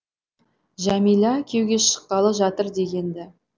жәмила күйеуге шыққалы жатыр дегенді